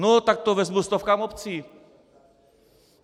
No tak to vezmu stovkám obcí!